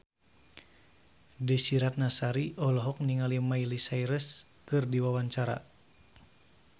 Desy Ratnasari olohok ningali Miley Cyrus keur diwawancara